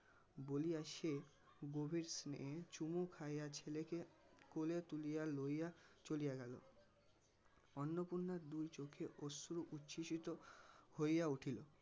বলিয়া সে গভীর স্নেহে চুমু খাইয়া ছেলেকে কোলে তুলিয়া লইয়া চলিয়া গেল. অন্নপূর্ণার দুই চোখে অশ্রু উচ্ছ্বসিত হইয়া উঠিল